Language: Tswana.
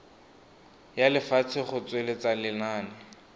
ya lefatshe go tsweletsa lenane